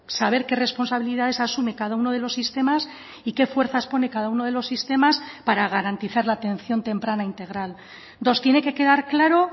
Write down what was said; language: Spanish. saber qué responsabilidades asume cada uno de los sistemas y qué fuerzas pone cada uno de los sistemas para garantizar la atención temprana integral dos tiene que quedar claro